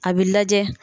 A bɛ lajɛ